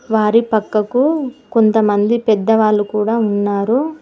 వారి పక్కకు కొంతమంది పెద్ద వాళ్ళు కూడా ఉన్నారు.